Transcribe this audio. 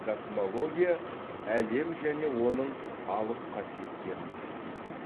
космология әлем және оның алып қасиеттерін зерттейді